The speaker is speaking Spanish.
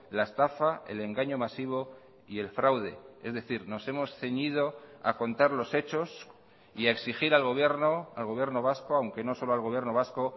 la estafa el engaño masivo y el fraude es decir nos hemos ceñido a contar los hechos y a exigir al gobierno al gobierno vasco aunque no solo al gobierno vasco